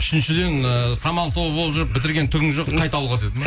үшіншіден ыыы самал тобы болып жүріп бітірген түгің жоқ қайт ауылға деді ме